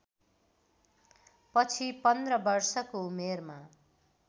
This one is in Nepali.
पछि पन्ध्र वर्षको उमेरमा